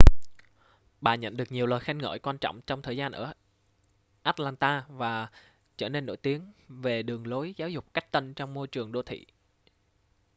bà nhận được nhiều lời khen ngợi quan trọng trong thời gian ở atlanta và trở nên nổi tiếng về đường lối giáo dục cách tân trong môi trường đô thị